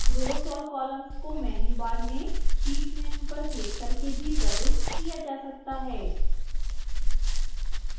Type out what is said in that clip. rows और columns को menu bar में sheet menu पर क्लिक करके भी प्रविष्ट किया जा सकता है